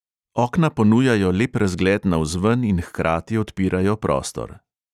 Okna ponujajo lep razgled navzven in hkrati odpirajo prostor.